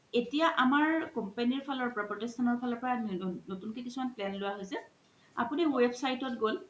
এতিয়া আমাৰ company ৰ ফালৰ পা প্ৰোতিশ্থানৰ ফালৰ পৰা নতুন কে কিছুমান plan লোৱা হৈছে আপুনি website ত গ'ল